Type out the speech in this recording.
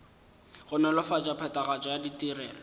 go nolofatša phethagatšo ya ditirelo